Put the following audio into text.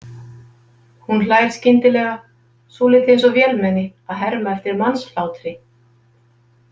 Hún hlær skyndilega, svolítið eins og vélmenni að herma eftir mannshlátri.